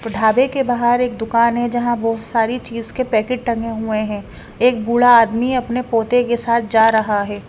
ढाबे के बाहर एक दुकान है जहां बहुत सारी चीज के पैकेट टंगे हुए हैं एक बूढ़ा आदमी अपने पोते के साथ जा रहा है।